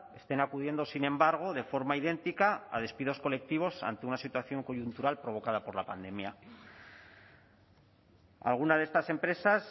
estén acudiendo sin embargo de forma idéntica a despidos colectivos ante una situación coyuntural provocada por la pandemia alguna de estas empresas